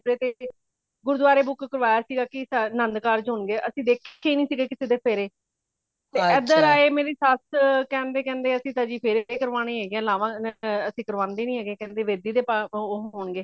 ਗੁਰਦੁਆਰੇ book ਕਰਵਾਯਾ ਸੀ ਗਾ ਕੀ ਆਨੰਦ ਕਾਰਜ਼ ਹੋਣਗੇ ਅਸੀਂ ਦੇਖੇ ਹੀ ਨਹੀਂ ਸੀ ਕਿਸੀ ਦੇ ਫੇਰੇ ਏਧਰ ਆਏ ਮੇਰੀ ਸੱਸ ਕੇਂਦੇ ਕੇਂਦੇ ਅਸੀਂ ਤੇ ਫੇਰੇ ਨਹੀਂ ਕਰਾਣੇ ਹੇਗੇ ਅਸੀਂ ਲਾਵਾਂ ਕਰਾਂਦੇ ਨਹੀਂ ਕੇਂਦੇ ਵੇਦੀ ਦੇ ਹੋਣਗੇ